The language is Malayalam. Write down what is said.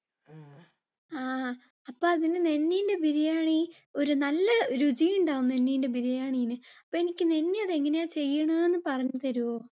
ആ അപ്പോ അതിനെ നന്നീന്‍റെ biryani ഒരു നല്ല രുചി ഉണ്ടാവും നന്നിന്‍റെ biryani ന്ന്. അപ്പ എനിക്ക് നന്നി അതെങ്ങനെ ചെയ്യണേന്ന് പറഞ്ഞു തരുവോ?